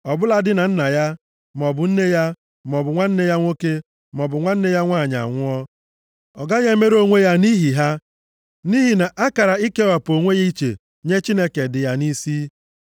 ọ bụladị na nna ya, maọbụ nne ya, maọbụ nwanne ya nwoke, maọbụ nwanne ya nwanyị anwụọ. Ọ gaghị emerụ onwe ya nʼihi ha, nʼihi na akara ikewapụ onwe ya iche nye Chineke dị ya nʼisi.